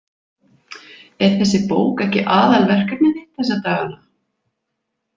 Er þessi bók ekki aðalverkefnið þitt þessa dagana?